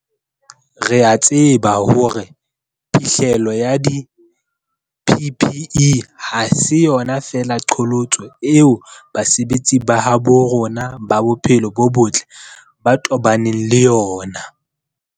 Re a tseba hore phihlello ya di-PPE ha se yona feela qholotso eo basebetsi ba habo rona ba bophelo bo botle ba tobaneng le yona.